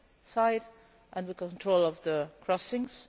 side and control of the crossings.